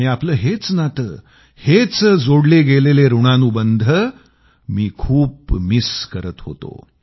आणि आपलं हेच नातं हेच जोडले गेलेले ऋणानुबंध मी खूप मिस करत होतो